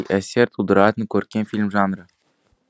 әсер тудыратын көркем фильм жанры